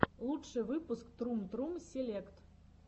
лучший выпуск трум трум селект